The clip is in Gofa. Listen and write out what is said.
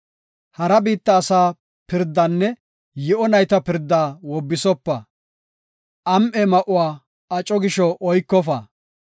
Hara biitta asaa pirdaanne yi7o nayta pirdaa wobbisopa; am7e ma7uwa aco gisho oykofa.